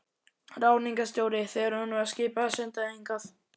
Ráðningarstjóri, þegar honum var skipað að senda þig hingað.